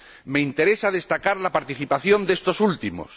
Me interesa destacar la participación de estos últimos.